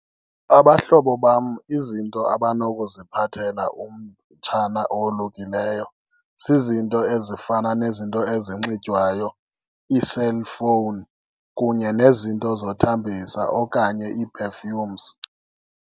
Abahlobo bam izinto abanokuziphathela umtshana owolukileyo zizinto ezifana nezinto ezinxitywayo, ii-cellphone kunye nezinto zothambisa okanye ii-perfumes.